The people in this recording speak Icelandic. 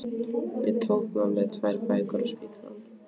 Ég tók með mér tvær bækur á spítalann